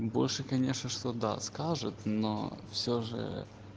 больше конечно что да скажет но все же